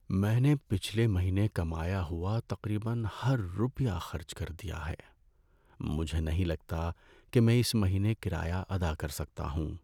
میں نے پچھلے مہینے کمایا ہوا تقریبا ہر روپیہ خرچ کر دیا ہے۔ مجھے نہیں لگتا کہ میں اس مہینے کرایہ ادا کر سکتا ہوں۔